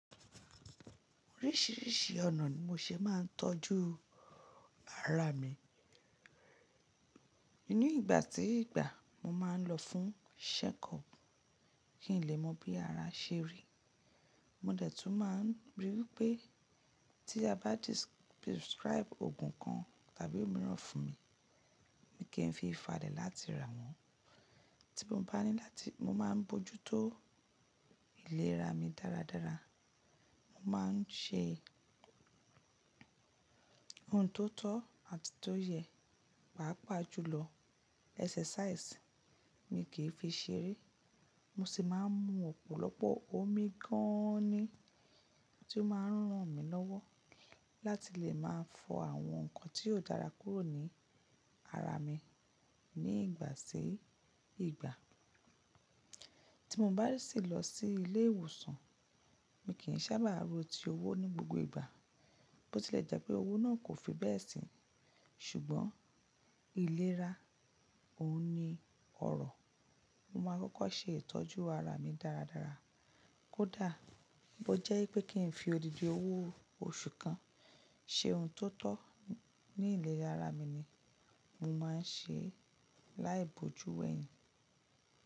Oríṣìíríṣìí ọ̀nà ni mo ṣe máa ń tọ́jú ara mi. Nínú ìgbà tí ìgbà, mo máa ń lọ fún checkup kí n lè mọ bí ara ṣe rí. Mo dẹ̀ tún máa ń ríi wípé tí a bá prescribe òògùn kan tàbí òmíràn fún mi, mo kì ń fi ìfalẹ̀ láti rà wọ́n. Tí mo bá ní láti, mo máa ń bójú tó ìlera mi dáradára. Mo máa ń ṣe ohun tó tọ́ àti tó yẹ, pàápàá jùlọ exercise mi kì í fi ṣeré. Mo sì máa ń mu ọ̀pọ̀lọpọ̀ omi gan an ni tí ó máa ń ran mi lọ́wọ́ láti lè máa fọ àwọn nǹkan tí yóò dára kúrò ní ara mi ní ìgbà sí ìgbà. Tí mo bá sì lọ sí ilé ìwòsàn, mi kì í sábà ro tí owó ní gbogbo ìgbà, bó ti lè jẹ́ pé owó náà kò fi bẹ́ẹ̀ síi. Ṣùgbọ́n ìlera òun ni ọ̀rọ̀. Mo máa kọ́kọ́ ṣe ìtọ́jú ara mi dáradára. Kódà bó jẹ́ pé kí n fi odidi owó oṣù kan ṣe ohun tó tọ́ ní ìlera ara mi ni, mo máa ń ṣe láìbojú wẹ̀hìn.